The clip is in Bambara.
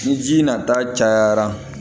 Ni ji nata cayara